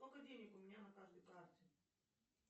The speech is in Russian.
сколько денег у меня на каждой карте